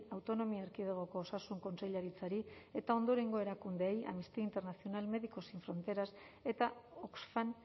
autonomia erkidegoko osasun kontseilaritzari eta ondorengo erakundeei amnistía internacional médicos sin fronteras eta oxfam